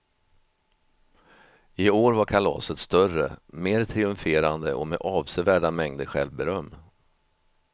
I år var kalaset större, mer triumferande och med avsevärda mängder självberöm.